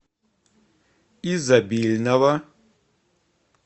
изобильного